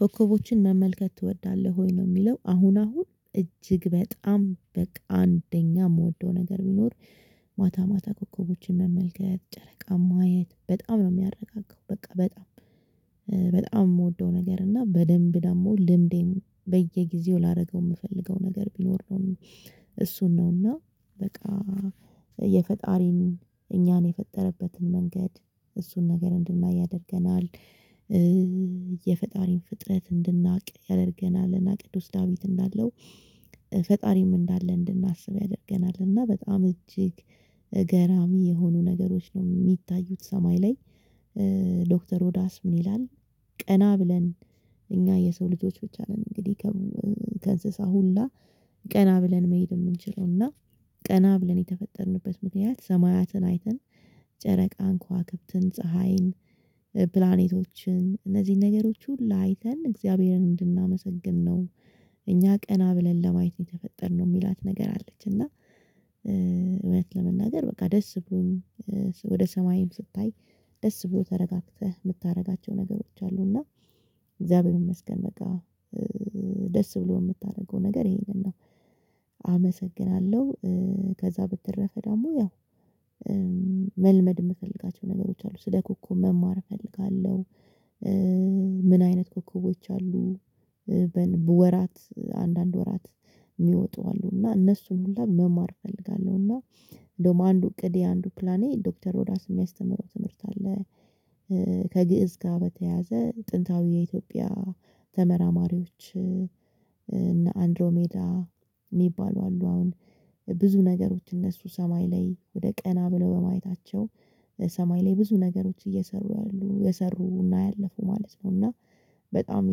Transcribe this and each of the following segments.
ኮከቦችን መመልከት ትወዳለህ ወይ ነው? የሚለው አሁን አሁን እጅግ በጣም በቃ አንደኛ የምወደው ነገር ቢኖር። ማታ ማታ ኮከቦችን መመልከት ጨረቃ ማየት በጣም ነው የሚያረጋጋው በቃ በጣም። በጣም የምወደው ነገር እና በደንብ ደግሞ ልምዴን በየጊዜው ላደርገው የምፈልገው ነገር ቢኖር ነው። እሱን ነው እና በቃ የፈጣሪን እኛን የፈጠረበትን መንገድ እሱን ነገር እንድናይ ያደርገናል። የፈጣሪን ፍጥረት እንድናቅ ያደርገናልና ቅዱስ ዳዊት እንዳለው ፈጣሪም እንዳለ እንድናስብ ያደርገናልና። በጣም እጅግ ገራሚ የሆኑ ነገሮች ነው የሚታዩት ሰማይ ላይ። ዶክተር ሮዳስ ምን ይላል? ቀና ብለን እኛ የሰው ልጆች ብቻ ነን እንግዲህ። ከእንስሳ ሁላ ቀና ብለን መሄድ የምንችለው እና። ቀና ብለን የተፈጠርንበት ምክንያት ሰማያትን አይተን ጨረቃን ኳክብትን ፀሀይን ፕላኔቶችን እነዚህን ነገሮች ሁላ አይተን እግዚአብሔርን እንድናመሰግን ነው። እኛ ቀና ብለን ለማየት የተፈጠርነው የሚላት ነገር አለች እና። እውነት ለመናገር በቃ ደስ ብሎኝ። ወደ ሰማይም ስታይ ደስ ብሎ ተረጋግተህ የምታደርጋቸው ነገሮች አሉ። እና እግዚአብሔር ይመስገን በቃ። ደስ ብሎ የምታደርገው ነገር ይሄንን ነው። አመሰግናለሁ። ከዛ በተደረፈ ደግሞ ያው መልመድ የምፈልጋቸው ነገሮች አሉ ስለ ኮኮብ መማር እፈልጋለሁ። ምን አይነት ኮኮቦች አሉ። በወራት አንዳንድ ወራት የሚወጡ አሉ እና እነሱን ሁሉ መማር እፈልጋለሁ እና እንደውም አንዱ እቅድ የአንዱ ፕላኔ ዶክተር ሮዳስ የሚያስተምረው ትምህርት አለ። ከግእዝ ጋር በተያያዘ ጥንታዊ የኢትዮጵያ ተመራማሪዎች እና አንድሮ ሜዳ የሚባሉ አሉ። አሁን ብዙ ነገሮች እነሱ ሰማይ ላይ ወደ ቀና ብለው በማየታቸው ሰማይ ላይ ብዙ ነገሮች እየሰሩ ያሉ የሰሩና ያለፉ ማለት ነው። እና በጣም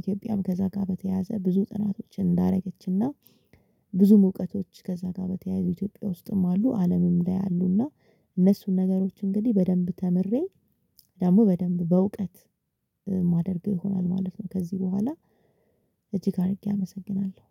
ኢትዮጵያም ከዛ ጋር በተያያዘ ብዙ ጥናቶችን እንዳደረገችና ብዙም እውቀቶች ከዛ ጋር በተያያዘ ኢትዮጵያ ውስጥም አሉ አለምም ላይ አሉና። እነሱን ነገሮች እንግዲህ በደንብ ተምሬ ደግሞ በደንብ በእውቀት ማደርግ ይሆናል ማለት ነው። ከዚህ በኋላ እጅግ አድርጌ አመሰግናለሁ